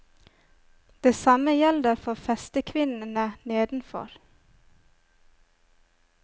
Det samme gjelder for festekvinnene nedenfor.